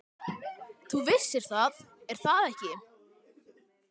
Þú vissir það, er það ekki?